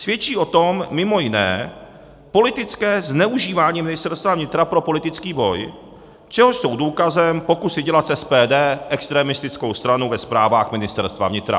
Svědčí o tom mimo jiné politické zneužívání Ministerstva vnitra pro politický boj, čehož jsou důkazem pokusy dělat z SPD extremistickou stranu ve zprávách Ministerstva vnitra.